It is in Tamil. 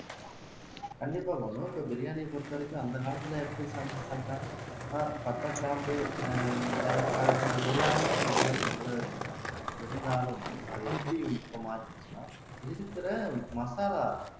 கண்டிப்பா பானு இப்ப பிரியாணியை பொறுத்தவரைக்கும் அந்த காலத்துல எடுத்துகிட்டோம்னா பட்டை கிராம்பு ஆஹ் ஏலக்காய் அது எல்லாமே உடலுக்கு நல்ல விஷயம்தான் இருந்தாலும் அது எப்படி இப்ப மாறுச்சின்னா இருக்கிற மசாலா